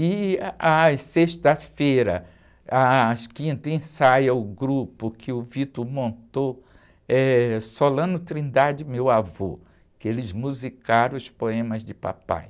E, às sextas-feiras, ãh, às quintas, ensaia o grupo que o montou, eh, Solano Trindade, Meu Avô, que eles musicaram os poemas de papai.